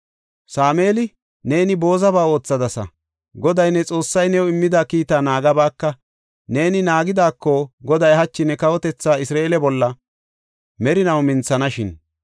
Sameeli, “Neeni boozaba oothadasa; Goday, ne Xoossay new immida kiitaa naagabaaka. Neeni naagidaako Goday hachi ne kawotethaa Isra7eele bolla merinaw minthanashin.